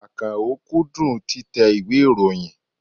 Àkànó kúndùn títẹ ìwé ìròyìn.